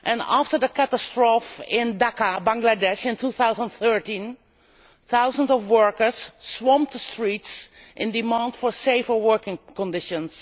After the catastrophe in Dhaka, Bangladesh, in 2013 thousands of workers swamped the streets to demand safer working conditions.